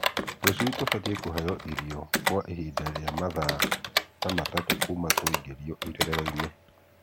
tũcui tubatiĩ kũheo irio kwa ihinda rĩa mathaa ta matatũ kuma twaingĩrio irerero-inĩ.